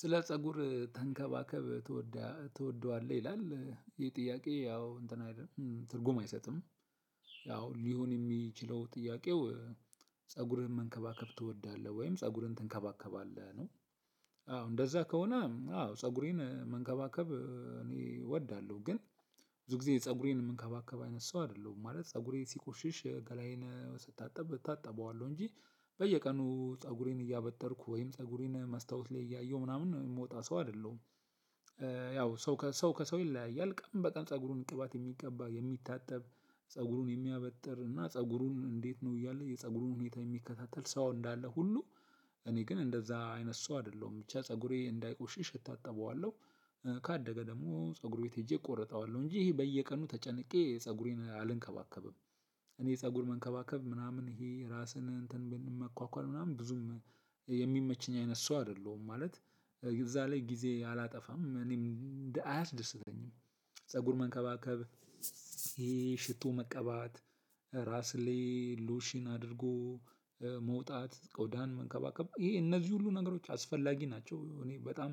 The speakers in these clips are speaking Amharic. ስለ ፀጉር ተንከባከብ ትወዳለህ ይላል ይሄ ጥያቄ ያው እንትን አይደለም ትርጉም አይሰጥም። ያው ሊሆን የሚችለው ጥያቄው ፀጉርህን መንከባከብ ትወዳለህ ወይም ፀጉርን ትንከባከባለህ ነው። አዎ እንደዛ ከሆነ አዎ ፀጉሬን መንከባከብ እኔ እወዳለሁ። ግን ብዙ ጊዜ ፀጉሬን ምንከባከብ አይነት ሰው አይደለሁም ማለት ፀጉሬ ሲቆሽሽ ገላዬን ስታጠብ እታጠበዋለሁ እንጂ በየቀኑ ፀጉሬን እያበጠርኩ ወይም ፀጉሬን መስታወት ላይ እያየሁ ምናምን እምወጣ ሰው አይደለሁም። ያው ሰው ከሰው ከሰው ይለያያል ቀን በጣም ፀጉሩን ቅባት የሚቀባ የሚታጠብ ፀጉሩን የሚያበጥር እና ፀጉሩን እንዴት ነው እያለ የፀጉሩን ሁኔታ የሚከታተል ሰው እንዳለ ሁሉ እኔ ግን እንደዛ አይነት ሰው አይደለሁም። ብቻ ፀጉሬ እንዳይቆሸሸ እታጠበዋለው። ካደገ ደግሞ ፀጉር ቤት ሄጄ እቆረጠዋለው እንጂ ይሄ በየቀኑ ተጨንቄ ፀጉሬን አልንከባከብም። እኔ ፀጉር መንከባከብ ምናምን ይሄ ራስን እንትን ብን መኳኳል ምናምን ብዙም የሚመቸኝ አይነት ሰው አይደለሁም ማለት እዛ ላይ ጊዜ አላጠፋም እኔም አያስደስተኝም። ፀጉር መንከባከብ ይሄ ሽቶ መቀባት። ራስ ላይ ሎሽን አድርጎ መውጣት ቆዳን መንከባከብ ይሄ እነዚህ ሁሉ ነገሮች አስፈላጊ ናቸው እኔ በጣም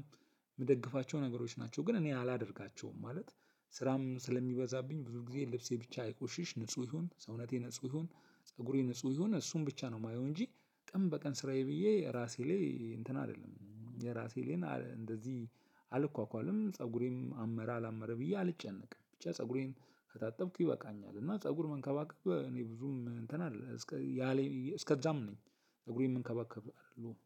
ምደግፋቸው ነገሮች ናቸው። ግን እኔ አላደርጋቸውም ማለት ስራም ስለሚበዛብኝ ብዙ ጊዜ ልብሴ ብቻ አይቆሽሽ ንጹህ ይሁን ሰውነቴ ንጹህ ይሁን ፀጉሬ ንጹህ ይሁን እሱን ብቻ ነው ማየው። እንጂ ቀን በቀን ስራዬ ብዬ ራሴ ላይ እንትን አልልም የራሴ ግን እንደዚህ አልኳኳልም ፀጉሬም አመረ አላመረ ብዬ አልጨነቅም። ብቻ ፀጉሬን ከታጠብኩኝ ይበቃኛል። እና ፀጉር መንከባከብ እኔ ብዙም እንትን አይደለም እስከ ያሌ እስከዛም ነኝ። ፀጉሬን መንከባከብ